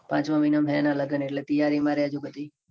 પાંચ માં મહિના માં છે. એટલે તૈયારી માં રેજો પછી